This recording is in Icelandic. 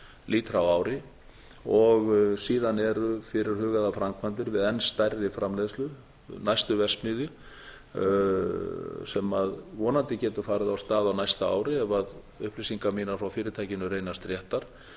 lítra á ári og síðan eru fyrirhugaðar framkvæmdir við enn stærri framleiðslu næstu verksmiðju sem vonandi getur farið af stað á næsta ári ef upplýsingar mínar frá fyrirtækinu reynast réttar